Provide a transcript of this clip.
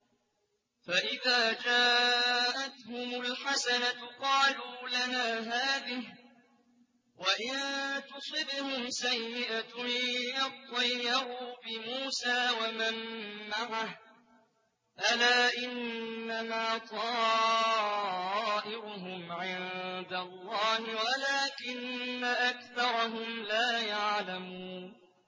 فَإِذَا جَاءَتْهُمُ الْحَسَنَةُ قَالُوا لَنَا هَٰذِهِ ۖ وَإِن تُصِبْهُمْ سَيِّئَةٌ يَطَّيَّرُوا بِمُوسَىٰ وَمَن مَّعَهُ ۗ أَلَا إِنَّمَا طَائِرُهُمْ عِندَ اللَّهِ وَلَٰكِنَّ أَكْثَرَهُمْ لَا يَعْلَمُونَ